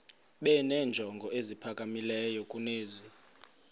benenjongo eziphakamileyo kunezi